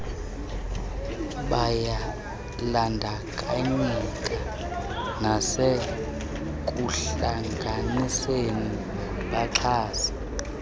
bayabandakanyeka nasekuhlanganiseni baxhase